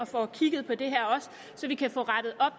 får kigget på det så vi kan få rettet op